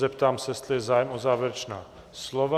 Zeptám se, jestli je zájem o závěrečná slova?